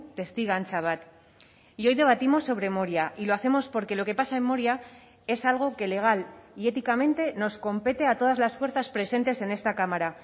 testigantza bat y hoy debatimos sobre moria y lo hacemos porque lo que pasa en moria es algo que legal y éticamente nos compete a todas las fuerzas presentes en esta cámara